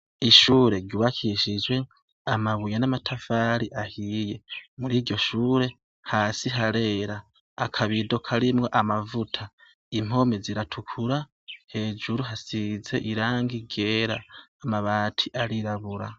Ishure ryubakishijwe amabuye n’amatafari ahiye, muriryo shure, hasi harera, akabido karimwo amavuta, impome ziratukura, hejuru hasize irangi ryera, amabati, arirabura.